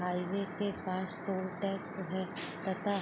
highway के पास toll tax है तथा --